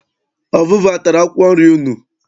Ọvụvụ atara akwụkwọ nri unu?